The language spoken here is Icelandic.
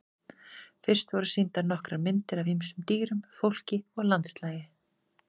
Fyrst voru sýndar nokkrar myndir af ýmsum dýrum, fólki og landslagi.